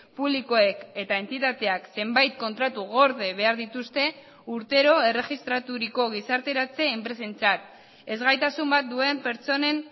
publikoek eta entitateak zenbait kontratu gorde behar dituzte urtero erregistraturiko gizarteratze enpresentzat ezgaitasun bat duen pertsonen